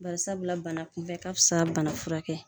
Barisabu la bana kunbɛn ka fisa bana furakɛ kɛ.